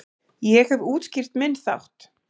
Ég hef útskýrt minn þátt.